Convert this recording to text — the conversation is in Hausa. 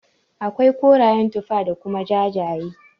Akwai korayen tufa da kuma jajaye.